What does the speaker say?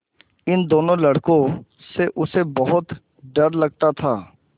इन दोनों लड़कों से उसे बहुत डर लगता था